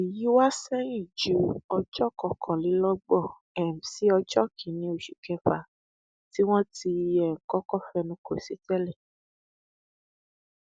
èyí wá sẹyìn ju ọjọ kọkànlélọgbọn um sí ọjọ kìnínní oṣù kẹfà tí wọn ti um kọkọ fẹnu kò sí tẹlẹ